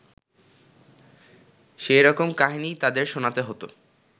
সেই রকম কাহিনীই তাঁদের শোনাতে হত